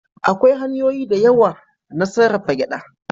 Akwai hanyoyi da yawa na sarrafa gyaɗa.